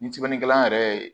Ni sinikɛla yɛrɛ ye